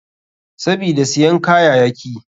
Sabida siyan kayayaki.